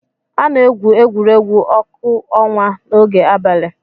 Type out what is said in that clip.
A na-egwu egwuregwu ọkụ ọnwa n'oge abalị.